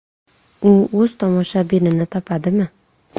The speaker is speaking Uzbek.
U o‘z tomoshabinini topadimi?